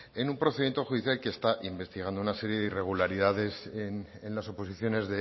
en un procedimiento judicial que está investigando una serie de irregularidades en las oposiciones